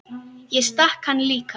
Ég stakk hann líka.